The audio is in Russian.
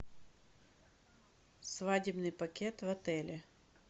свадебный пакет в отеле